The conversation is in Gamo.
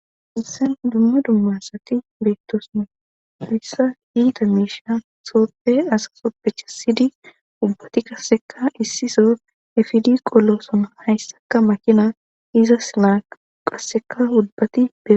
hissen dumma dummassati beettosna hayssa iita miisha sooppe asasopphecha siydi ubbati qasseka issiso efidi qollosona hayssaka makina izas naa qasseka ubbati be